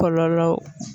Kɔlɔlɔ